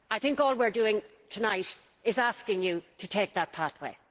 I think all we are doing tonight is asking you to take that pathway.